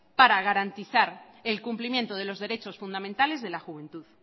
para garantizar el cumplimiento de los derechos fundamentales de la juventud